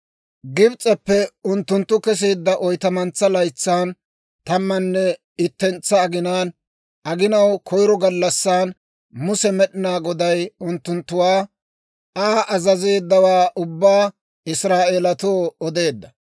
Gibs'eppe unttunttu keseedda oytamantsaa laytsan, tammanne ittentsa aginaan, aginaw koyiro gallassan, Muse Med'inaa Goday unttunttuwaa Aa azazeeddawaa ubbaa Israa'eelatoo odeedda.